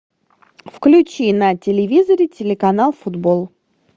включи на телевизоре телеканал футбол